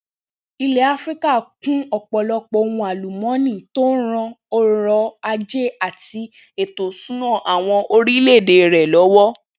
Ilè̩ Áfíríkà kún ò̩pò̩lo̩pò̩ ohun àlùmó̩nì tó ń ran o̩rò̩ ajé àti ètò ìs̩úná àwo̩n orílè̩-èdè rè̩ ló̩wó̩